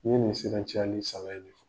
Ni nin bɛ se ka caya ni saba ye